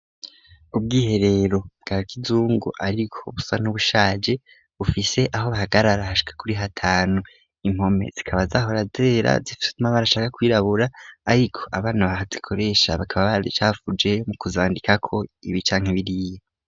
ubw'iherero bwa kizungu ariko busa n'ubushage bufise aho bahagararashwe kuri hatanu impome zikaba zahora dera zifistuma barashaka kwirabura ariko abana bahazikoresha bakaba barrcavuje mu kuzandika ko ibi canke biriye